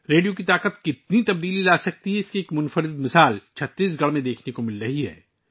radio کی طاقت کتنی تبدیلی لاسکتی ہے اس کی ایک انوکھی مثال چھتیس گڑھ میں دیکھی جا رہی ہے